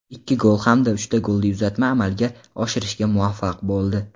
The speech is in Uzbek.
ikki gol hamda uchta golli uzatma amalga oshirishga muvaffaq bo‘ldi.